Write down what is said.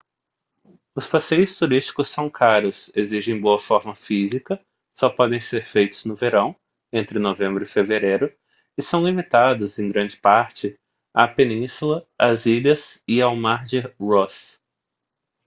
os passeios turísticos são caros exigem boa forma física só podem ser feitos no verão entre novembro e fevereiro e são limitados em grande parte à península às ilhas e ao mar de ross